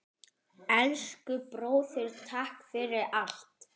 Elsku bróðir, takk fyrir allt.